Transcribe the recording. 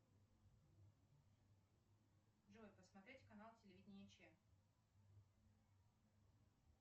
джой посмотреть канал телевидение че